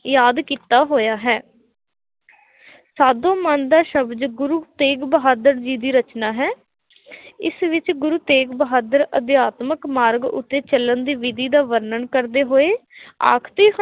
ਯਾਦ ਕੀਤਾ ਹੋਇਆ ਹੈ ਸਾਜੋ ਮਨ ਦਾ ਸ਼ਬਦ, ਗੁਰੂ ਤੇਗ ਬਹਾਦਰ ਜੀ ਦੀ ਰਚਨਾ ਹੈ, ਇਸ ਵਿੱਚ ਗੁਰੂ ਤੇਗ ਬਹਾਦਰ ਅਧਿਆਤਮਿਕ ਮਾਰਗ ਉੱਤੇ ਚੱਲਣ ਦੀ ਵਿਧੀ ਦਾ ਵਰਣਨ ਕਰਦੇ ਹੋਏ, ਆਖਦੇ